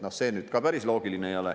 No see nüüd ka päris loogiline ei ole.